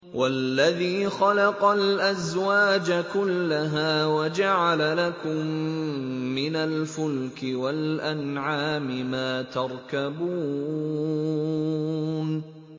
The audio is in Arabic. وَالَّذِي خَلَقَ الْأَزْوَاجَ كُلَّهَا وَجَعَلَ لَكُم مِّنَ الْفُلْكِ وَالْأَنْعَامِ مَا تَرْكَبُونَ